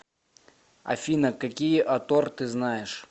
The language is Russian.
афина какие атор ты знаешь